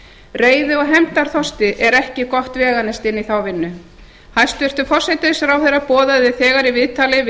reiði og hefndarþorsti er ekki gott veganesti inn í þá vinnu hæstvirtur forsætisráðherra boðaði þegar í viðtali við